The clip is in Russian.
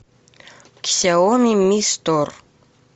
ксяоми ми стор